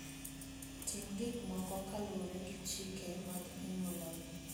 Tim gik moko kaluwore gi chike mag anyuolau.